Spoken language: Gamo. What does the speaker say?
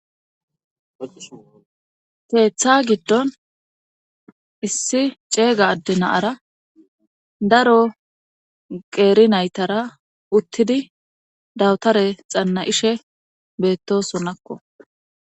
Teeththa giddon issi ceega adde naara daro qeeri naytara uttidi dawtare xanna ishe beettosonakko.